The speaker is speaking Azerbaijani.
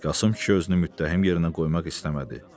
Qasım kişi özünü müttəhim yerinə qoymaq istəmədi.